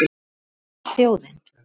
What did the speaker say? Hvað vill þjóðin?